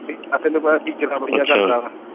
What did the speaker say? ਆ ਤੈਨੂੰ ਪਤਾ ਟੀਚਰਾਂ ਬੜੀਆਂ ਕਰਦਾ ਹਾ ਅੱਛਾ